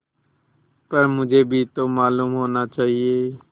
पर मुझे भी तो मालूम होना चाहिए